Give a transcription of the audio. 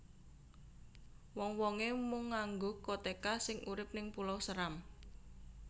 Wong wonge mung nganggo koteka sing urip ning Pulau Seram